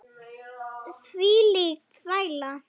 Hvílík þvæla.